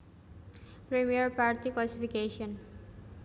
Première partie Classification